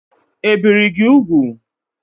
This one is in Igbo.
Ebìri gị úgwù?